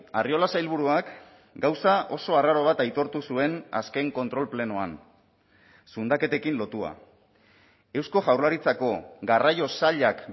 arriola sailburuak gauza oso arraro bat aitortu zuen azken kontrol plenoan zundaketekin lotua eusko jaurlaritzako garraio sailak